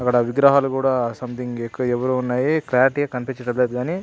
అక్కడ విగ్రహాలు సంథింగ్ ఎక్కువ ఉన్నాయి. ఎక్కువ కనిపించటం లేదు గాని --